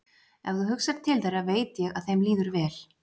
Ef þú hugsar til þeirra veit ég að þeim líður vel.